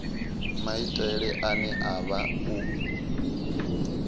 maitele ane a vha o